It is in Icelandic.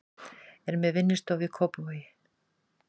Er með vinnustofu í Kópavogi.